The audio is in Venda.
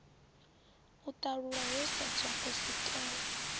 u ṱalulwa ho sedzwa kusikelwe